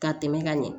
Ka tɛmɛ ka ɲɛ